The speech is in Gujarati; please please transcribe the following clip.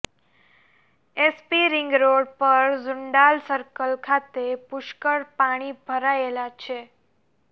એસપી રિંગરોડ પર ઝુંડાલ સર્કલ ખાતે પુષ્કળ પાણી ભરાયેલા છે